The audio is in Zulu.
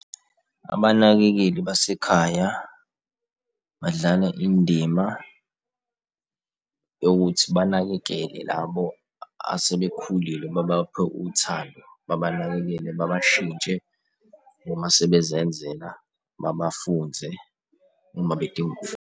Abanakekeli basekhaya badlala indima yokuthi banakekele labo asebekhulile ababaphe uthando babanakekele babashintshe uma sebezenzela babafunze uma bedinga .